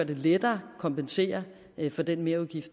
det lettere at kompensere for den merudgift